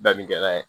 Dabi kɛla ye